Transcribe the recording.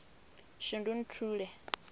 shundunthule